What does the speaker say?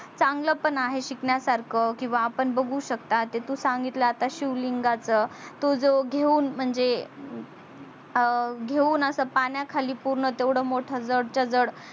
चांगल पण आहे शिकण्या सारख किवा आपण बगु शकतात की तू सांगितल आता शिवलिंगाच तो जो घेऊन म्हणजे घेऊन अस पाण्या खाली पूर्ण तेवढ मोठ जडच जड